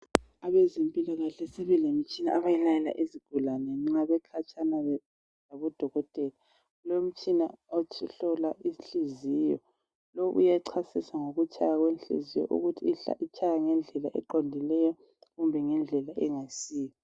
Abezempilakahle sebelemitshina abayilayela izigulane nxa bekhatshana labodokotela kulomtshina ohlola inhliziyo uyachasisa ngokutshaya kwenhliziyo ukuthi itshaya ngendlela eqondileyo kumbe ngendlela engasiyo